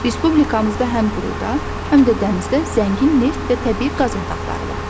Respublikamızda həm quruda, həm də dənizdə zəngin neft və təbii qaz yataqları var.